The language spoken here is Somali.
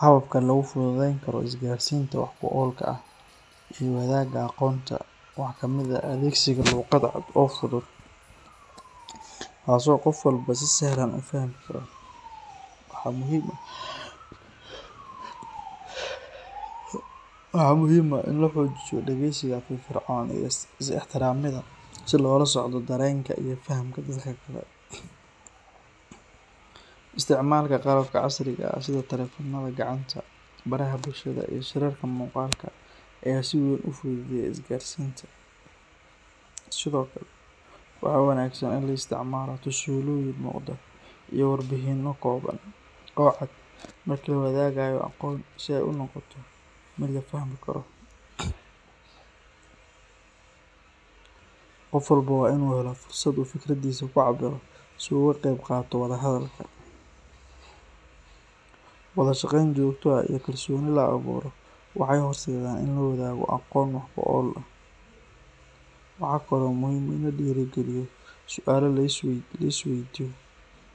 Hababka lagu fududeyn karo isgaarsiinta wax ku oolka ah iyo wadaagga aqoonta waxaa ka mid ah adeegsiga luqad cad oo fudud, taasoo qof walba si sahlan u fahmi karo. Waxaa muhiim ah in la xoojiyo dhageysiga firfircoon iyo is ixtiraamida si loola socdo dareenka iyo fahamka dadka kale. Isticmaalka qalabka casriga ah sida taleefannada gacanta, baraha bulshada, iyo shirarka muuqaalka ah ayaa si weyn u fududeeya isgaarsiinta. Sidoo kale, waxaa wanaagsan in la isticmaalo tusaalooyin muuqda iyo warbixino kooban oo cad marka la wadaagayo aqoon si ay u noqoto mid la fahmi karo. Qof walba waa inuu helo fursad uu fikradiisa ku cabbiro si uu uga qaybqaato wada hadalka. Wada shaqeyn joogto ah iyo kalsooni la abuuro waxay horseedaan in la wadaago aqoon wax ku ool ah. Waxaa kale oo muhiim ah in la dhiirrigeliyo su’aalo la isweydiiyo